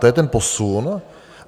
To je ten posun.